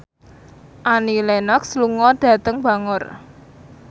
Annie Lenox lunga dhateng Bangor